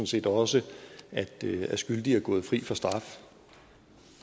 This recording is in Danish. set også at skyldige er gået fri for straf